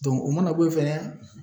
Dɔnku o mana bo yen fɛnɛ